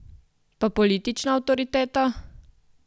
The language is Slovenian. Pa politična avtoriteta?